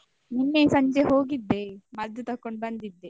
ನಿನ್ನೆ ಸಂಜೆ ಹೋಗಿದ್ದೆ ಮದ್ದು ತೊಕೊಂಡ್ ಬಂದಿದ್ದೆ.